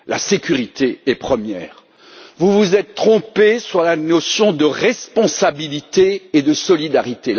La sécurité est première. Vous vous vous êtes trompé sur les notions de responsabilité et de solidarité.